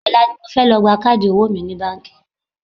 Ọ̀la ni mo fẹ́ lọ gba káàdì owó mi ní báńkì